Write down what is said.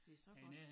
Det så godt